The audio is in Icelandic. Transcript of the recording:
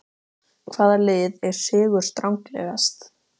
Hvaða lið er sigurstranglegast?